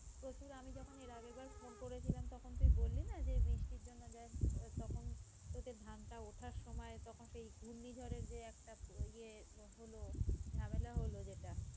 প্রচুর আমি যখন এর আগের বার phone করেছিলাম তখন তুই বললি না যে বৃষ্টির জন্য তখন তোদের ধান টা ওঠার সময় তখন সেই ঘূর্ণি ঝড়ের সেই একটা ইয়ে হলো ঝামেলা হলো যেটা